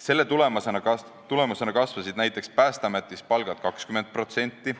Selle tulemusena kasvasid näiteks Päästeametis palgad 20%,